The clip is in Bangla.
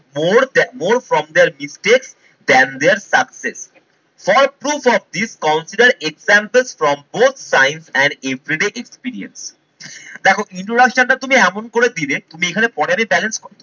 more than more from there regret than their success. For of this consider example from both sign an experience দেখো introduction টা তুমি এমন করে দিলে তুমি এখানে